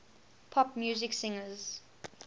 pop music singers